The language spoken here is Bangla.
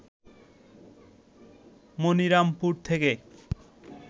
মনিরামপুর থেকে